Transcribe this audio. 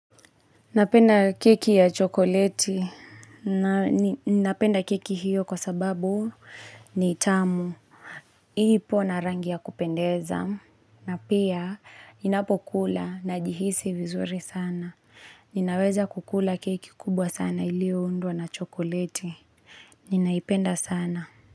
Napenda keki ya chokoleti. Napenda keki hiyo kwa sababu ni tamu. Hii ipo na rangi ya kupendeza. Na pia, inapokula najihisi vizuri sana. Ninaweza kukula keki kubwa sana ilio undwa na chokoleti. Ninaipenda sana.